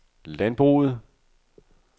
landbruget